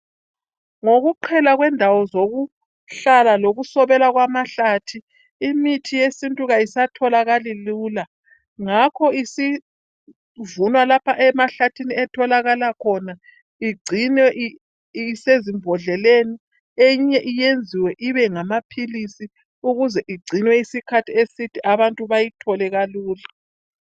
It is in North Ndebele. Ngokuqhela kwendawo zokuhlala lokusobela kwamahlathi imithi yesintu ayisatholakali lula ngakho isivunwa lapha emahlathini etholakala khona igcinwe isesimbodleleni eyinye iyenziwe ibe ngamaphilisi ukuze igcinwe isikhathi eside abantu bayithole kalula.